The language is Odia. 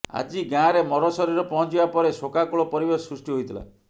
ଆଜି ଗାଁରେ ମରଶରୀର ପହଞ୍ଚିବା ପରେ ଶୋକାକୁଳ ପରିବେଶ ସୃଷ୍ଟି ହୋଇଥିଲା